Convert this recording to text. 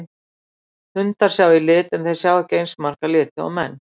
Hundar sjá í lit en þeir sjá ekki eins marga liti og menn.